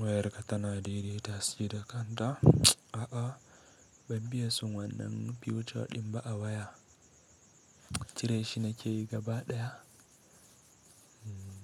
Wayarka tana daidaita shi da kanta. A'a, ban biya sun wannan fasali ɗin ba a waya. Cire shi nake gaba ɗaya.